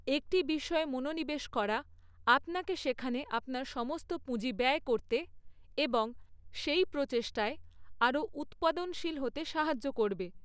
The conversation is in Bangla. একটি বিষয়ে মনোনিবেশ করা আপনাকে সেখানে আপনার সমস্ত পুঁজি ব্যয় করতে এবং সেই প্রচেষ্টায় আরও উৎপাদনশীল হতে সাহায্য করবে।